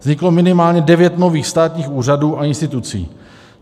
Vzniklo minimálně devět nových státních úřadů a institucí.